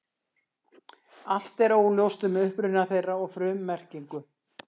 Allt er óljóst um uppruna þeirra og frummerkingu.